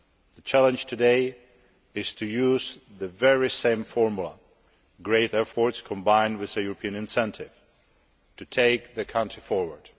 The challenge today is to use the very same formula great efforts combined with a European incentive to take the country forward.